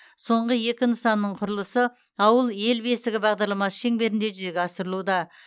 соңғы екі нысанның құрылысы ауыл ел бесігі бағдарламасы шеңберінде жүзеге асырылуда